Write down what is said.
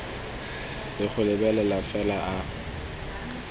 le go lebelela fela a